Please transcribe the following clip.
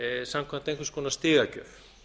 samkvæmt einhvers konar stigagjöf